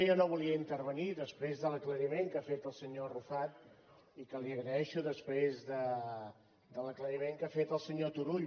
jo no volia intervenir després de l’aclariment que ha fet el senyor arrufat i que li agraeixo després de l’aclariment que ha fet el senyor turull